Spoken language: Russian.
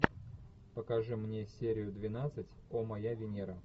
покажи мне серию двенадцать о моя венера